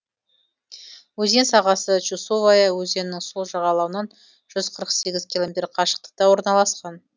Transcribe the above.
өзен сағасы чусовая өзенінің сол жағалауынан жүз қырық сегіз километр қашықтықта орналасқан